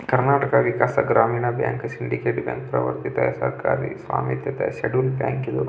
Karnataka Vikas Grameena bank Syndicate bank ಸರಕಾರದ schedule bank ಇದು.